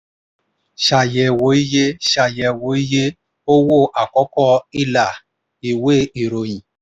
ṣàyẹ̀wò iye ṣàyẹ̀wò iye owó àkọ́kọ́ ilà ìwé ìròyìn.